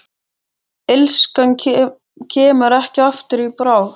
Illskan kemur ekki aftur í bráð.